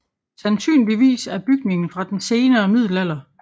Sandsynligvis er bygningen fra den senere middelalder